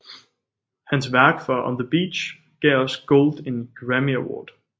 Hans værk for On the Beach gav også Gold en Grammy Award